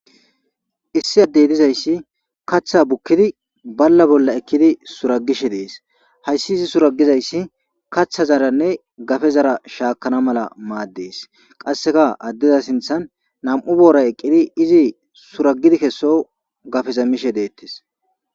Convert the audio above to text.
Issi addeynizayssi kaththa bukkidi balla bolla ekkidi suragishe dees hayssi izi suragizayssi kaththa zaranne gafe zara shaakana mala maaddees qasseka addeza sinthan nam7u boora eqqidi izi suragidi kesso gafezamishe deettes.